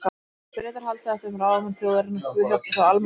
Ef Bretar halda þetta um ráðamenn þjóðarinnar, guð hjálpi þá almenningi.